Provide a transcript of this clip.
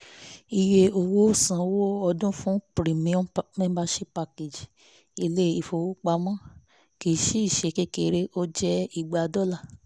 iye owó sanwó ọdún fún "premium membership package" ilé ìfowópamọ́ kì í ṣe kékeré ó jẹ́ igba dọ́là